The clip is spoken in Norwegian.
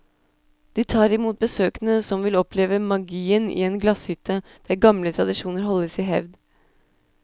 De tar imot besøkende som vil oppleve magien i en glasshytte der gamle tradisjoner holdes i hevd.